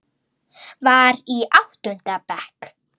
Var í áttunda bekk.